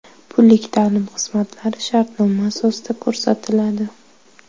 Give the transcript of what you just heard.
Pullik ta’lim xizmatlari shartnoma asosida ko‘rsatiladi.